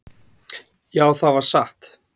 """Já, það var satt."""